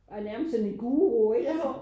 Og er nærmest sådan en guru ikke